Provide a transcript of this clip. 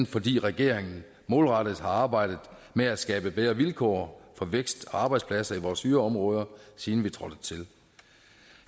fordi regeringen målrettet har arbejdet med at skabe bedre vilkår for vækst og arbejdspladser i vores yderområder siden vi trådte til